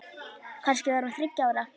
Kannski var hún þriggja ára.